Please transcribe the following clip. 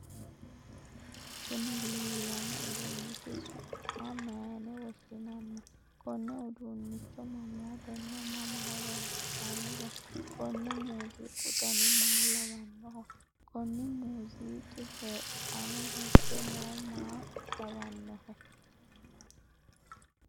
kuni leellanno uduunnichi su'ma mayiine woshshinanni? konne uduunnicho mamootenna mama horonsi'nanniho? konni muuziiqu dani maa lawannoho? konni muuziiqi badheenni hige noohu maa lawannohe?